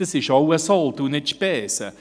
Dies ist auch ein Sold, es sind keine Spesen.